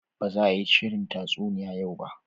Ba za a yi shirin tatsuniya yau ba